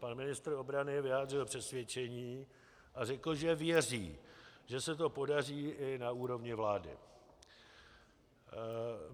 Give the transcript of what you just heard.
Pan ministr obrany vyjádřil přesvědčení a řekl, že věří, že se to podaří i na úrovni vlády.